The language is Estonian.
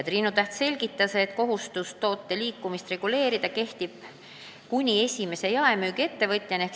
Triinu Täht selgitas, et kohustus toote liikumist registreerida kehtib kuni esimese jaemüügiettevõtjani.